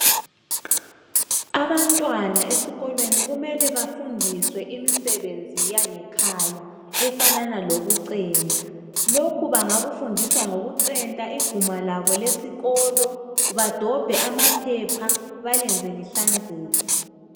abantwana esikolweni kumele bafundiswe imisebezi yange khaya efanana loku centa lokhu bakufundiswa ngokucenta iguma labo lesikolo badobhe amaphepha belenze lihlanzeke.